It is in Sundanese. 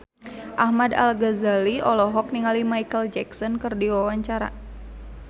Ahmad Al-Ghazali olohok ningali Micheal Jackson keur diwawancara